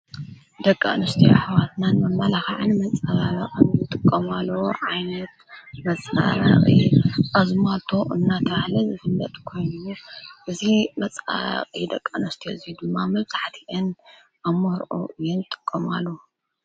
ደቂ አንስትዮ አሕዋትና ንመመላክዕን መፀባበቅን ዝጥቀማሉ ዓይነት መፀባበቂ አዝማልቶ እናተበሃለ ዝፍለጥ ኮይኑ፤ እዚ መፀባበቂ ደቂ አንስትዮ እዚ ድማ ብጣዕሚ እየን አብ መርዑ እየን ዝጥቀማሉ፡፡